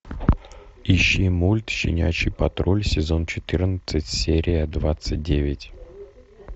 ищи мульт щенячий патруль сезон четырнадцать серия двадцать девять